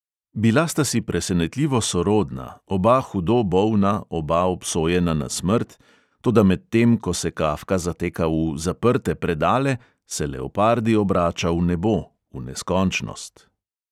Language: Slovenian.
Bila sta si presenetljivo sorodna, oba hudo bolna, oba obsojena na smrt, toda medtem ko se kafka zateka v "zaprte predale", se leopardi obrača v nebo, v neskončnost.